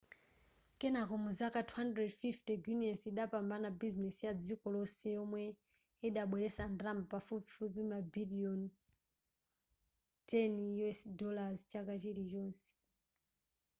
kenako muzaka za 250 guiness idapambana busines ya dziko lonse yomwe yidabweletsa ndalama pafupifupi mabiliyoni $10 chaka chilichonse